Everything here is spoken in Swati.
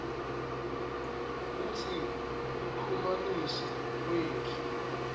kutsi kuchumanisa kwetfu